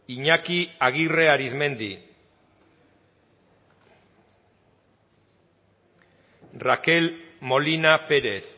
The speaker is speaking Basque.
iñaki aguirre arizmendi rakel molina pérez